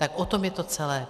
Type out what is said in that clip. Tak o tom je to celé.